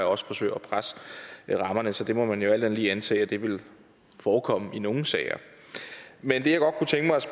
og også forsøger at presse rammerne så det må man jo alt andet lige antage vil vil forekomme i nogle sager men det